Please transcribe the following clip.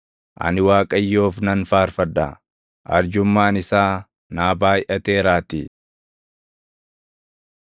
Ani Waaqayyoof nan faarfadha; arjummaan isaa naa baayʼateeraatii.